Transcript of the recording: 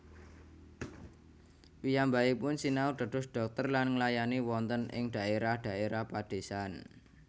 Piyambakipun sinau dados dhokter lan nglayani wonten ing dhaérah dhaérah padésan